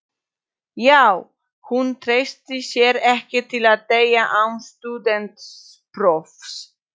Já, hún treystir sér ekki til að deyja án stúdentsprófs.